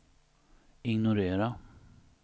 ignorera